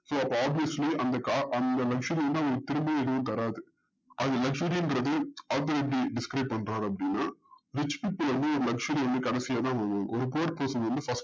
so அப்போ obviously அந்த car அந்த luxury திரும்பி எதுவும் தராது அது luxury ன்றது author எப்டி describe பண்றாரு அப்டின்னா rich people வந்து luxury வந்து கடைசியாத பண்ணுவாங்க ஒரு thired person வந்து